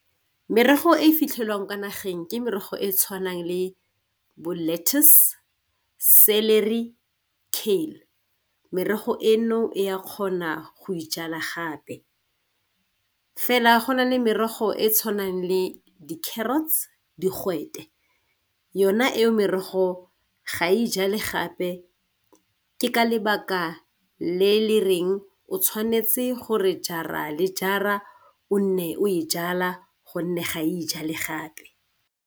Merogo e fitlhelwang ka nageng ke merogo e e tshwanang le bo lettuce, celery, cane merogo eno e ya kgona go e jala gape. Fela go na le merogo e e tshwanang le di-carrots, digwete yona e merogo ga e jale gape ke ka lebaka le le reng o tshwanetse gore jara le jara o nne o e jala gonne ga e jale gape.